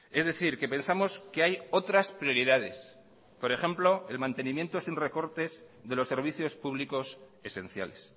es decir que pensamos que hay otras prioridades por ejemplo el mantenimiento sin recortes de los servicios públicos esenciales